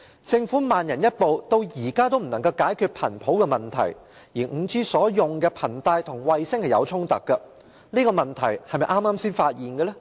政府慢人一步，至今仍未能解決頻譜問題，而 5G 所使用的頻帶與衞星有所衝突，這個問題是否剛剛才發現的呢？